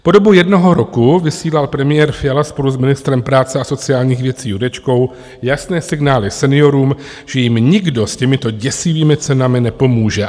Po dobu jednoho roku vysílal premiér Fiala spolu s ministrem práce a sociálních věcí Jurečkou jasné signály seniorům, že jim nikdo s těmito děsivými cenami nepomůže.